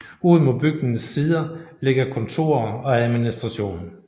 Ud mod bygningens sider ligger kontorer og administration